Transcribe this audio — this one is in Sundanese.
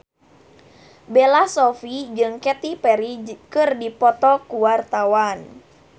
Bella Shofie jeung Katy Perry keur dipoto ku wartawan